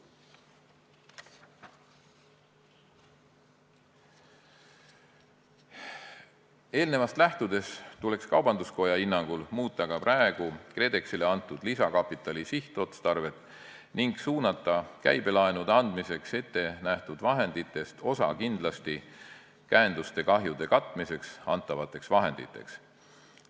Eelnevast lähtudes tuleks kaubanduskoja hinnangul muuta ka praegu KredExile antud lisakapitali sihtotstarvet ning suunata käibelaenude andmiseks ettenähtud vahenditest osa kindlasti käenduste kahjude katmiseks antavateks vahenditeks.